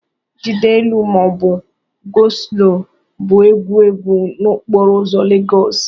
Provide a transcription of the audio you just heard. "jide elu ma ọ bụ ""go slow" bụ ewu ewu n'okporo ụzọ Lagos."